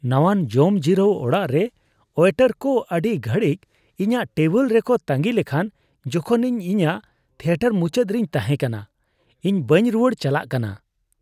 ᱱᱟᱣᱟᱱ ᱡᱚᱢᱡᱤᱨᱟᱹᱣ ᱚᱲᱟᱜ ᱨᱮ ᱳᱭᱮᱴᱟᱨ ᱠᱚ ᱟᱹᱰᱤ ᱜᱷᱟᱹᱲᱤᱡ ᱤᱧᱟᱹᱜ ᱴᱮᱵᱤᱞ ᱨᱮᱠᱚ ᱛᱟᱺᱜᱤ ᱞᱮᱠᱷᱟᱱ ᱡᱚᱠᱷᱚᱱ ᱤᱧ ᱤᱧᱟᱹᱜ ᱛᱷᱤᱭᱮᱴᱟᱨ ᱢᱩᱪᱟᱹᱫ ᱨᱤᱧ ᱛᱟᱦᱮᱸ ᱠᱟᱱᱟ ᱾ᱤᱧ ᱵᱟᱹᱧ ᱨᱩᱣᱟᱹᱲ ᱪᱟᱞᱟᱜ ᱠᱟᱱᱟ ᱾